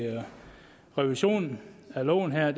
revisionen af loven er at